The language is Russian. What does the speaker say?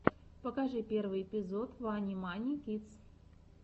покажи первый эпизод вани мани кидс